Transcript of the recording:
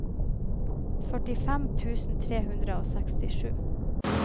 førtifem tusen tre hundre og sekstisju